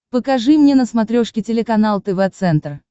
покажи мне на смотрешке телеканал тв центр